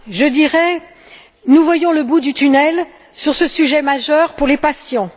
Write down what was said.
je dirais, nous voyons le bout du tunnel sur ce sujet majeur pour les patients.